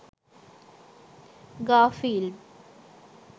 garfield